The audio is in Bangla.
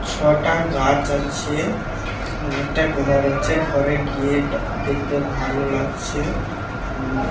ছটা গাছ আছে। একটা ঘর আছে ঘরে গেট দেখতে ভালো লাগছে। ফুল ও--